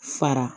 Fara